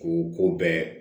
K'u ko bɛɛ